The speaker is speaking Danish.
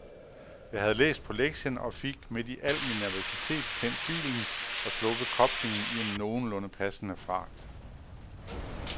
Jeg havde læst på lektien og fik midt i al min nervøsitet tændt bilen og sluppet koblingen i en nogenlunde passende fart.